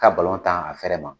Ka balon tan a fɛrɛ ma.